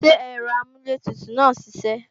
Ṣé ẹ̀rọ amúlẹ̀tutù náà ń siṣẹ́